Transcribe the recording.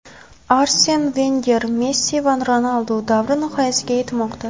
Arsen Venger: Messi va Ronaldu davri nihoyasiga yetmoqda.